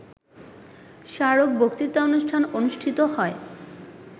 স্মারক বক্তৃতানুষ্ঠান অনুষ্ঠিত হয়